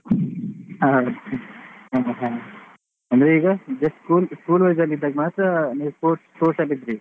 ಹಾ ಹಾ ಹಾ ಅಂದ್ರೆ ಈಗ just school school wise ಇದ್ದಾಗ ಮಾತ್ರ ನೀವು sports sports ಅಲ್ಲಿ ಇದ್ರಿ?